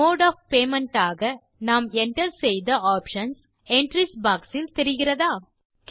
mode of payments ஆக நாம் enter செய்த ஆப்ஷன்ஸ் என்ட்ரீஸ் பாக்ஸ் இல் தெரிகிறதா